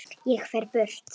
Ég fer burt.